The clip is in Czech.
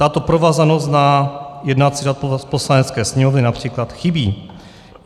Tato provázanost na jednací řád Poslanecké sněmovny například chybí.